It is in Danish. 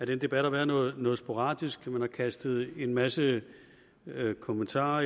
den debat har været noget noget sporadisk man har kastet en masse kommentarer